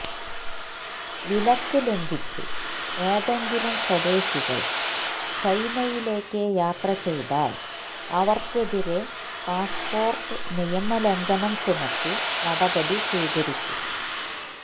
വിലക്ക് ലംഘിച്ച് ഏതെങ്കിലും സ്വദേശികള് ചൈനയിലേക്ക് യാത്ര ചെയ്താല് അവര്ക്കെതിരെ പാസ്സ്പോര്ട്ട് നിയമലംഘനം ചുമത്തി നടപടി സ്വീകരിക്കും